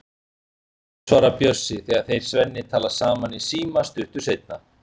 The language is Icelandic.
Já, svarar Bjössi þegar þeir Svenni tala saman í síma stuttu seinna.